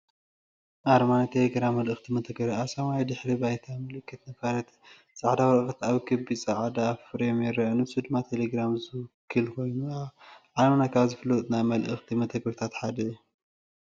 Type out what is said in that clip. ኣርማ ናይ ቴሌግራም መልእኽቲ መተግበሪ። ኣብ ሰማያዊ ድሕረ ባይታ፡ ምልክት ነፋሪት ጻዕዳ ወረቐት ኣብ ክቢ ጻዕዳ ፍሬም ይርአ። ንሱ ድማ ቴሌግራም ዝውክል ኮይኑ፡ ኣብ ዓለምና ካብ ዝፍለጡ ናይ መልእኽቲ መተግበሪታት ሓደ እዩ።